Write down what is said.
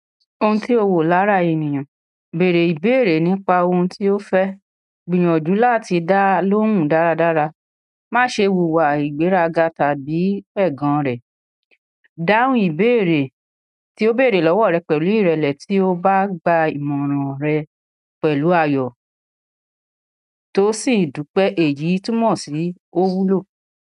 Ohun tí o wò lára ènìyàn, bèèrè ìbéèrè nípa ohun tí ó fẹ́, gbìyànjú láti dá lóhùn dáradára, má ṣe wùwà ìgbéraga tàbí ẹ̀gàn rẹ̀. Dáhùn ìbéèrè tí ó bèèrè lọ́wọ́ rẹ pẹ̀lú ìrẹ̀lẹ̀ tí ó bá gba ìmọ̀ràn rẹ pẹ̀lú ayọ̀ tó sì dúpẹ́ èyí túmọ̀ sí o wúlò.